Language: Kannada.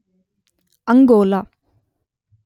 ಅಂಗೋಲ